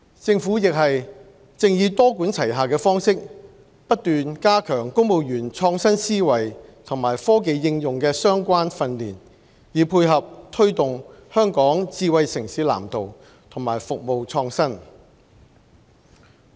政府亦正以多管齊下的方式不斷加強公務員創新思維和科技應用的相關訓練，以配合推動《香港智慧城市藍圖》和服務創新。